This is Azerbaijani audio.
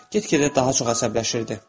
Get-gedə daha çox əsəbləşirdi.